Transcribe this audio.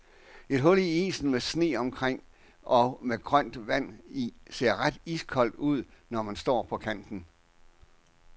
Et hul i isen med sne omkring og med grønt vand i ser ret iskoldt ud, når man står på kanten.